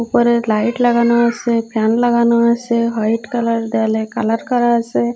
ওপারে লাইট লাগানো আসে ফ্যান লাগানো আসে হোয়াইট কালার দেয়ালে কালার করা আসে।